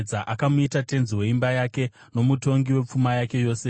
Akamuita tenzi weimba yake, nomutongi wepfuma yake yose,